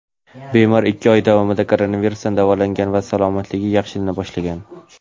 bemor ikki oy davomida koronavirusdan davolangan va salomatligi yaxshilana boshlagan.